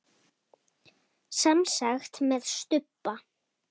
Semsagt með stubba.